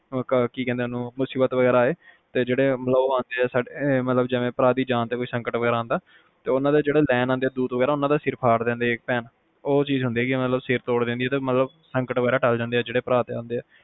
ਕੀ ਕਹਿੰਦੇ ਆ ਮੁਸੀਬਤ ਵਗੈਰਾ ਕੁਛ ਆਏ ਤੇ ਜਿਹੜਾ ਜਿਵੇ ਭਰਾ ਦੀ ਜਾਨ ਤੇ ਸੰਕਟ ਵਗੈਰਾ ਆਂਦਾ ਤੇ ਓਹਨੂੰ ਜਿਹੜੇ ਲੈਣ ਆਂਦੇ ਦੂਤ ਵਗੈਰਾ ਉਹਨਾਂ ਦਾ ਸਿਰ ਫਾੜ ਦਿੰਦੇ ਇਕ ਭੈਣ ਉਹ ਚੀਜ਼ ਹੁੰਦੀ ਮਤਲਬ ਸੰਕਟ ਵਗੈਰਾ ਤੋੜ ਦਿੰਦੀ ਜਿਹੜੇ ਭਰਾ ਤੇ ਆਂਦੇ